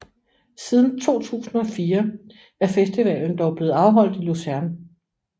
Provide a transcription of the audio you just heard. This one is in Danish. Siden 2004 er festivalen dog blevet afholdt i Luzern